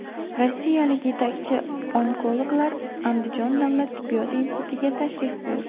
Rossiyalik yetakchi onkologlar Andijon davlat tibbiyot institutiga tashrif buyurdi .